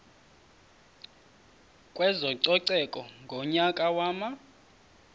kwezococeko ngonyaka wama